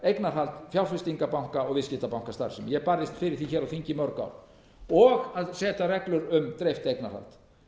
eignarhald fjárfestingarbanka og viðskiptabankastarfsemi ég barðist fyrir því hér á þingi í mörg ár og að setja reglur um dreift eignarhald